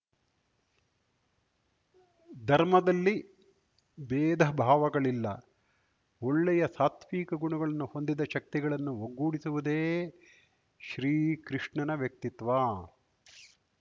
ಧರ್ಮದಲ್ಲಿ ಬೇಧ ಭಾವಗಳಿಲ್ಲ ಒಳ್ಳೆಯ ಸಾತ್ವಿಕ ಗುಣಗಳನ್ನು ಹೊಂದಿದ ಶಕ್ತಿಗಳನ್ನು ಒಗ್ಗೂಡಿಸುವುದೇ ಶ್ರೀಕೃಷ್ಣನ ವ್ಯಕ್ತಿತ್ವ